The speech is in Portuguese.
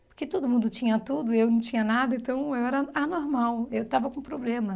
Porque todo mundo tinha tudo e eu não tinha nada, então eu era anormal, eu estava com problema.